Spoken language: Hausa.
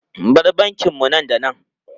Bar bankin mu nan da nan!